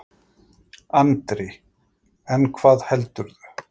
Andri: En hvað heldurðu?